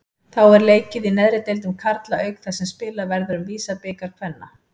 Þá er leikið í neðri deildum karla auk þess sem spilað verður í VISA-bikar kvenna.